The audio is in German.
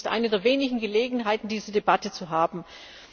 Es ist eine der wenigen Gelegenheiten, diese Debatte zu führen.